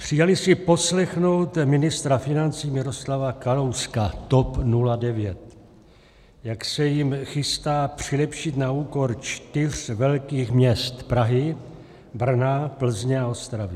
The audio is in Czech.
Přijeli si poslechnout ministra financí Miroslava Kalouska, TOP 09, jak se jim chystá přilepšit na úkor čtyř velkých měst: Prahy, Brna, Plzně a Ostravy.